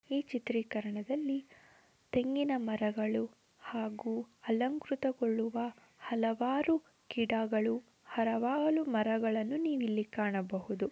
ಈ ಚಿತ್ರೀಕರಣದಲ್ಲಿ ತೆಂಗಿನ ಮರಗಳು ಹಾಗೂ ಅಲಂಕೃತಗೊಳ್ಳುವ ಹಲವಾರು ಗಿಡಗಳು ಹಲವಾರು ಮರಗಳನ್ನು ನೀವು ಇಲ್ಲಿ ಕಾಣಬಹುದು .